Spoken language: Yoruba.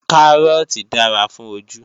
Kárọ́ọ̀tì dára fún ojú